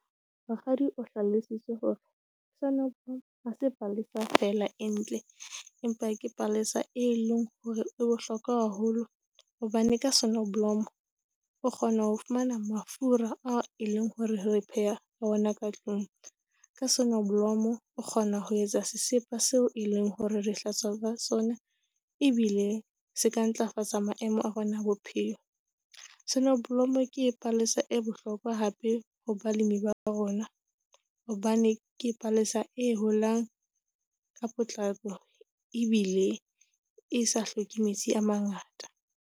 Mokgadi o hlalositse hore sonneblom ha se palesa fela e ntle, empa ke palesa e leng hore e bohlokwa haholo hobane ka sonneblom o kgona ho fumana mafura a e leng hore re pheha ona ka tlung, ka sonneblom o kgona ho etsa sesepa seo e leng hore re hlatswa ka sona ebile se ka ntlafatsa maemo a rona a bophelo. Sonneblom ke palesa e bohlokwa hape hore balemi ba rona, hobane ke palesa e holang ka potlako ebile e sa hloke metsi a mangata.